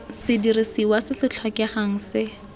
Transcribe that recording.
sedirisiwa se se tlhokegang se